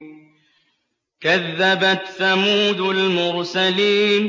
كَذَّبَتْ ثَمُودُ الْمُرْسَلِينَ